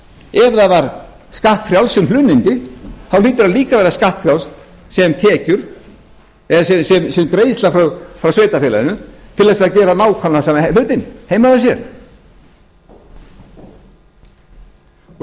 ef það var skattfrjálst sem hlunnindi hlýtur það líka að vera skattfrjálst sem greiðsla frá sveitarfélaginu til þess að gera nákvæmlega sama hlutinn heima hjá sér